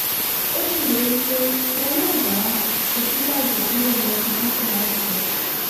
ó ṣèlérí pé wọn yóò dá òsínbàjò sílẹ̀ lọ́sibítù láìpẹ́